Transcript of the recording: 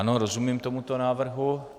Ano, rozumím tomuto návrhu.